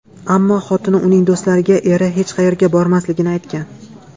Ammo xotini uning do‘stlariga eri hech qayerga bormasligini aytgan.